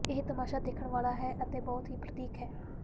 ਇਹ ਤਮਾਸ਼ਾ ਦੇਖਣ ਵਾਲਾ ਹੈ ਅਤੇ ਬਹੁਤ ਹੀ ਪ੍ਰਤੀਕ ਹੈ